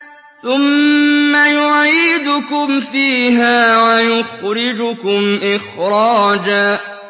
ثُمَّ يُعِيدُكُمْ فِيهَا وَيُخْرِجُكُمْ إِخْرَاجًا